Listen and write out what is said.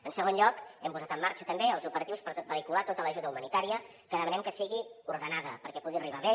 en segon lloc hem posat en marxa també els operatius per vehicular tota l’ajuda humanitària que demanem que sigui ordenada perquè pugui arribar bé